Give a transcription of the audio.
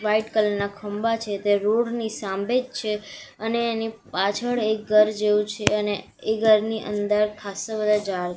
white colour ના ખંભા છે તે રોડ ની સામેજ છે અને એની પાછળ એક ઘર જેવું છે અને એ ઘરની અંદર ખાસ્સા બધા ઝાડ--